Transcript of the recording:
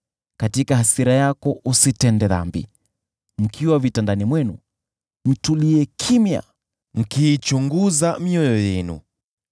Katika hasira yako, usitende dhambi. Mkiwa vitandani mwenu, mtulie kimya mkiichunguza mioyo yenu.